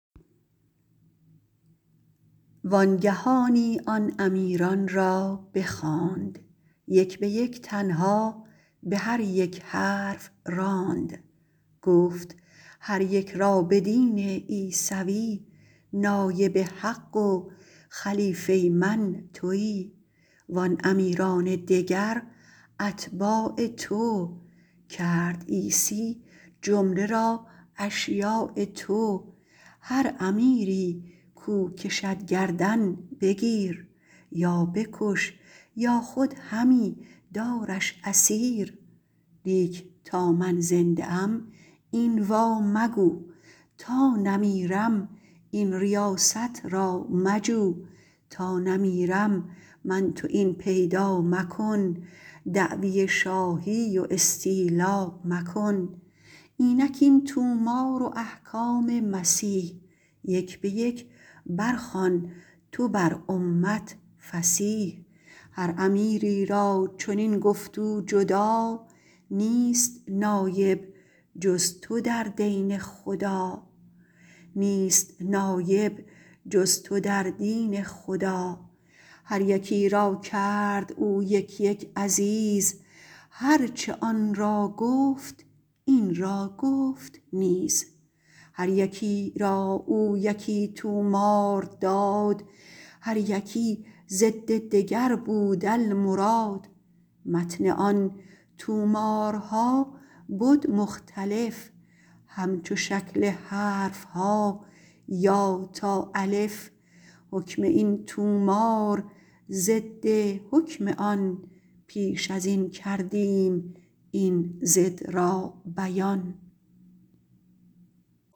وانگهانی آن امیران را بخواند یک بیک تنها بهر یک حرف راند گفت هر یک را بدین عیسوی نایب حق و خلیفه من توی وان امیران دگر اتباع تو کرد عیسی جمله را اشیاع تو هر امیری کو کشد گردن بگیر یا بکش یا خود همی دارش اسیر لیک تا من زنده ام این وا مگو تا نمیرم این ریاست را مجو تا نمیرم من تو این پیدا مکن دعوی شاهی و استیلا مکن اینک این طومار و احکام مسیح یک بیک بر خوان تو بر امت فصیح هر امیری را چنین گفت او جدا نیست نایب جز تو در دین خدا هر یکی را کرد او یک یک عزیز هرچه آن را گفت این را گفت نیز هر یکی را او یکی طومار داد هر یکی ضد دگر بود المراد متن آن طومارها بد مختلف همچو شکل حرفها یا تا الف حکم این طومار ضد حکم آن پیش ازین کردیم این ضد را بیان